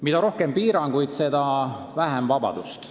Mida rohkem piiranguid, seda vähem vabadust.